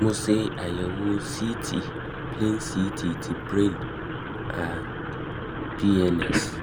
mo ṣe àyẹ̀wò ct um plain ct ti brain & pns